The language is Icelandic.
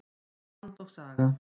Land og saga.